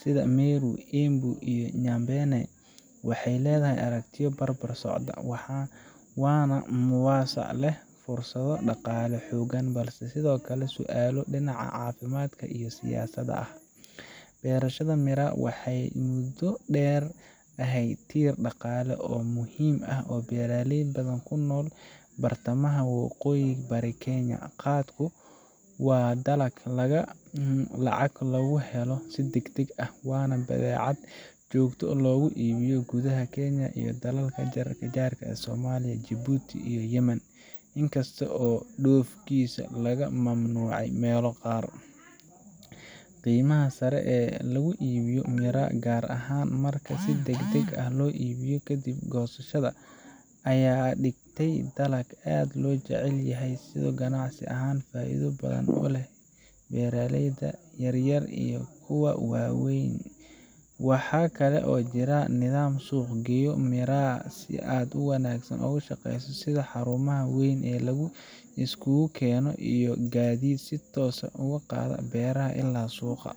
sida Meru, Embu, iyo Nyambene, waxay leedahay aragtiyo is barbar socda – waana mawduuc leh fursado dhaqaale oo xooggan balse sidoo kale leh su'aalo dhinaca caafimaadka iyo siyaasadda ah. Beerashada miraa waxay muddo dheer ahayd tiir dhaqaale oo muhiim ah oo u ah beeraley badan oo ku nool bartamaha iyo waqooyi-bari Kenya. Khat-ku waa dalag lacag lagu helo si degdeg ah, waana badeecad si joogto ah loogu iibiyo gudaha dalka iyo dalalka jaarka sida Somalia, Djibouti, iyo Yemen in kasta oo dhoofkiisa laga mamnuucay meelo qaar. Qiimaha sare ee lagu iibiyo miraa, gaar ahaan marka si degdeg ah loo iibiyo kadib goosashada, ayaa ka dhigtay dalag aad loo jecel yahay oo ganacsi ahaan faa’iido badan u leh beeraleyda yaryar iyo kuwa waaweynba. Waxaa kale oo jira nidaam suuq geeyo miraa si aad u wanaagsan u shaqeeya, sida xarumaha weyn ee la isugu keeno iyo gaadiid si toos ah uga qaada beeraha ilaa suuqa.